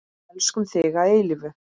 Elskum þig að eilífu.